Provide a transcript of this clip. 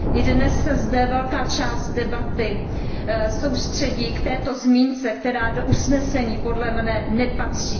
I dnes se zde velká část debaty soustředí na tuto zmínku, která do usnesení podle mne nepatří.